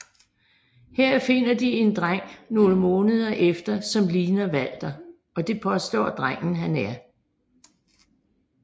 Her finder de en dreng nogle måneder efter som ligner Walter og det påstår drengen han er